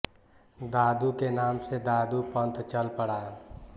दादू के नाम से दादू पंथ चल पडा